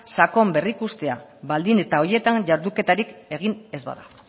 sakon berrikustea baldin eta horietan jarduketarik egin ez bada